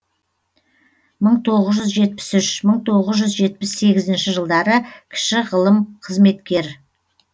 мың тоғыз жүз жетпіс үш мың тоғыз жүз жетпіс сегізінші жылдары кіші ғылым қызметкер